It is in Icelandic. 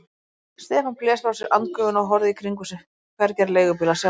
Stefán blés frá sér andgufunni og horfði í kringum sig, hvergi var leigubíl að sjá.